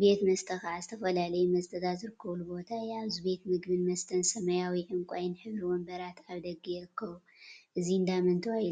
ቤት መስተ ከዓ ዝተፈላለዩ መስተታት ዝርከበሉ ቦታ እዩ፡፡ አብዚ ቤት ምግቢን መስተን ሰማያዊን ዕንቋይን ሕብሪ ወንበራት አብ ደገ ይርከቡ፡፡ እዚ እንዳመን ተባሂሉ ይፍለጥ?